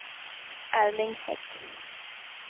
Erling Hägg